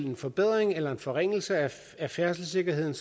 en forbedring eller forringelse af færdselssikkerheden